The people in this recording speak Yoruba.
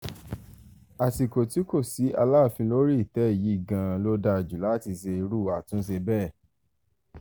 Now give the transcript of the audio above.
àsìkò tí kò sí aláàfin lórí ìtẹ́ yìí gan-an ló dáa jù láti ṣe irú àtúnṣe bẹ́ẹ̀